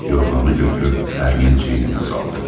Yorğanı götürüb ərinin çiyninə saldı.